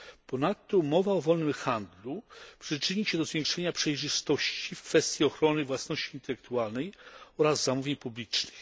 Ponadto umowa o wolnym handlu przyczyni się do zwiększenia przejrzystości w kwestii ochrony własności intelektualnej oraz zamówień publicznych.